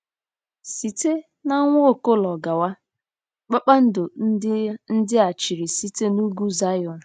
Site n'Nwaokolo gawa, “kpakpando” ndị a chịrị site n'Ugwu Zayọn.